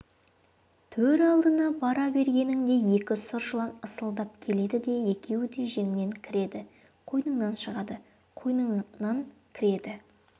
төр алдына бара бергеніңде екі сұр жылан ысылдап келеді де екеуі де жеңіңнен кіреді қойныңнан шығады қойныңнан кіреді